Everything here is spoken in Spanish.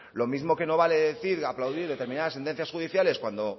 lo mismo que no vale decir aplaudir determinadas sentencias judiciales cuando